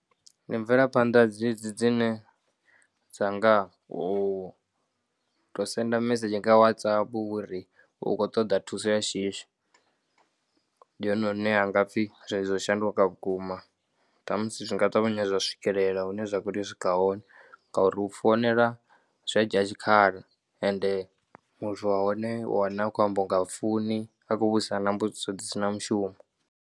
Ndi mvelaphanḓa dzedzi dzine dza nga u tou senda mimesedzhi nga WhatsApp uri u khou ṱoḓa thuso ya shishi. Ndi hone hune ha nga pfhi zwithu zwo shanduka vhukuma. Ṱhamusi zwi nga ṱavhanya zwa swikelela hune zwa khou tea u swikelela hone ngauri u founela zwi a dzhia tshikhala ende muthu wa hone u wana a khou amba u nga ha funi a khou vhudzisa mbudziso dzi si na mushumo.